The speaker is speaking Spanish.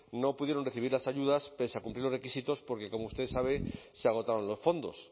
no pudieron recibir las ayudas pese a cumplir los requisitos porque como ustedes saben se agotaron los fondos